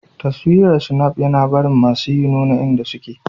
Taswirar Snap yina barin masuyi nuna inda suke.